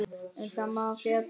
Um það má ekki fjalla.